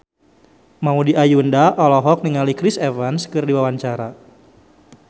Maudy Ayunda olohok ningali Chris Evans keur diwawancara